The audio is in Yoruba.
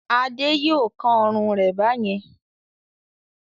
Ade yóò kán ọrùn rẹ̀ bá yẹn.